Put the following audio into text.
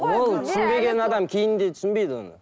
ол түсінбеген адам кейін де түсінбейді оны